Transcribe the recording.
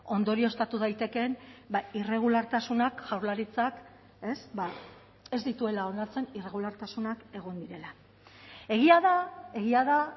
ondorioztatu daitekeen irregulartasunak jaurlaritzak ez dituela onartzen irregulartasunak egon direla egia da egia da